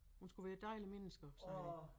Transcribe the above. Hun skulle være et dejligt menneske også